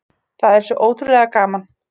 Það er svo ótrúlega gaman